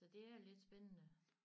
Så det er lidt spændende